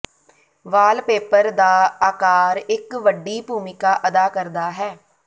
wallpaper ਦਾ ਆਕਾਰ ਇਕ ਵੱਡੀ ਭੂਮਿਕਾ ਅਦਾ ਕਰਦਾ ਹੈ